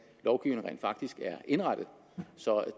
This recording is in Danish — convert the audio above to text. lovgivningen rent faktisk er indrettet så